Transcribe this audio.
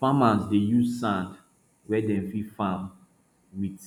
farmers dey use sand wey dem fit farm with